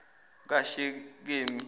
kashekemi